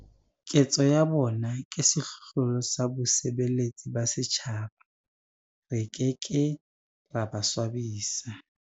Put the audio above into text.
Ketso ya bona ke sehlohlolo sa bosebeletsi ba setjhaba. Re ke ke ra ba swabisa.